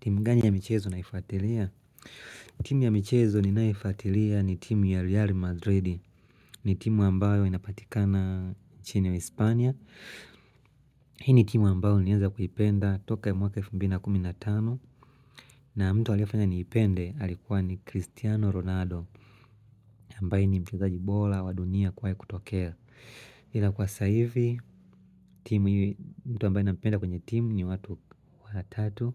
Timu ya michezo ni ninayoifuatilia ni timu ya Real Madrid ni timu ambayo inapatikana chini ya uhispania Hii ni timu ambayo niaza kuipenda toka mwaka F15 na mtu walihafanya niipende alikuwa ni Cristiano Ronaldo ambaye ni mchezaji bora wa dunia kuwahi kutokea ila kwa saivi, timu yi mtu ambaye na penda kwenye timu ni watu watatu